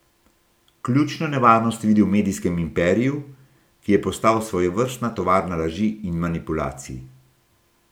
Ključno nevarnost vidi v medijskem imperiju, ki je postal svojevrstna tovarna laži in manipulacij.